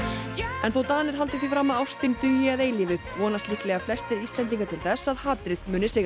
en þó Danir haldi því fram að ástin dugi að eilífu vonast líklega flestir Íslendingar til þess að hatrið muni sigra